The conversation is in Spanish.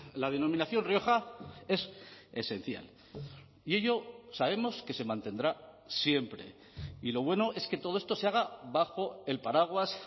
la denominación rioja es esencial y ello sabemos que se mantendrá siempre y lo bueno es que todo esto se haga bajo el paraguas